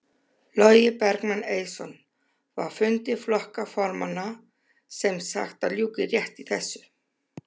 Logi Bergmann Eiðsson: Var fundi flokka formanna sem sagt að ljúka rétt í þessu?